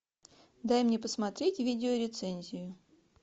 дай мне посмотреть видеорецензию